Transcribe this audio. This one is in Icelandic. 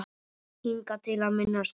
Hingað til að minnsta kosti.